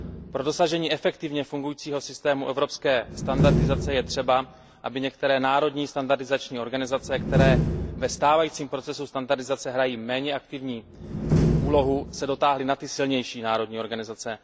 Pro dosažení efektivně fungujícího systému evropské standardizace je třeba, aby se některé národní standardizační organizace, které ve stávajícím procesu standardizace hrají méně aktivní úlohu, dotáhly na ty silnější národní organizace.